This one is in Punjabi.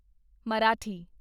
ਮਰਾਠੀ